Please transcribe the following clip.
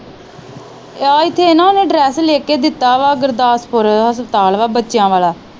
ਆ ਇੱਥੇ ਨਾ ਉਹਨੇ ਐਡਰੈੱਸ ਲਿਖ ਕੇ ਦਿੱਤਾ ਵਾ ਗੁਰਦਾਸਪੁਰ ਹਸਪਤਾਲ ਵਾ ਬੱਚਿਆਂ ਵਾਲਾ